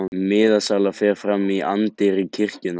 Miðasala fer fram í anddyri kirkjunnar